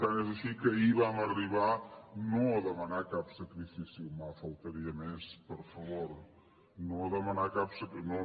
tant és així que ahir vam arribar no a demanar cap sacrifici humà faltaria més per favor no a demanar cap sacrifici